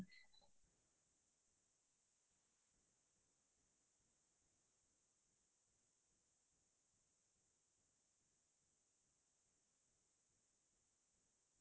মই খাই আমাৰ থলোৱা খাদ্য বোৰ খাই ভাল পাও যেনে ক'ল্দিল্, প্ছলা শাক ভাজি, মানি মুনি শাকৰ আন্জ্যা